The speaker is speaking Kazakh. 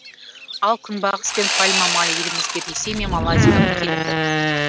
ал күнбағыс пен пальма майы елімізге ресей мен малайзиядан келеді